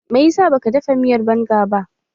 Me ya sa ba ka dafa miyar banga ba?